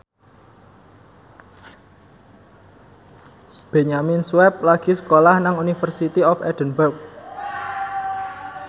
Benyamin Sueb lagi sekolah nang University of Edinburgh